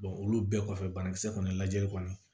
olu bɛɛ kɔfɛ banakisɛ kɔni lajɛli kɔni